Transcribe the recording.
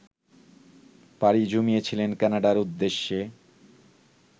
পাড়ি জমিয়েছিল ক্যানাডার উদ্দেশে